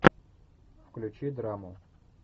включи драму